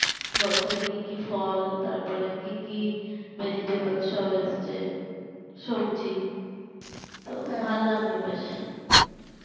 বছরে কি কি ফল তারপর কি কি vegetables সব এসেছে সবজি তো ভালো লাগলো বেশ